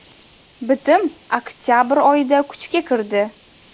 Bitim oktabr oyida kuchga kirdi.